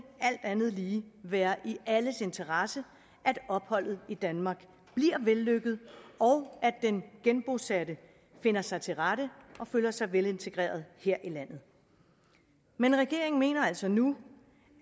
alt andet lige være i alles interesse at opholdet i danmark bliver vellykket og at den genbosatte finder sig til rette og føler sig velintegreret her i landet men regeringen mener altså nu